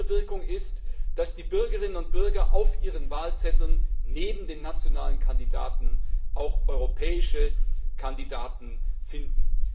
Eine andere Wirkung ist, dass die Bürgerinnen und Bürger auf ihren Wahlzetteln neben den nationalen Kandidaten auch europäische Kandidaten finden.